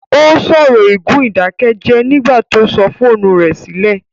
Ó sọ̀rọ̀ ègún ìdákẹ́jẹ́ẹ́ nígbà tó sọ fóònù rẹ̀ sílẹ̀